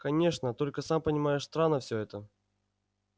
конечно только сам понимаешь странно всё это